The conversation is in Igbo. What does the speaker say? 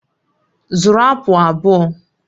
Zụrụ apụl abụọ!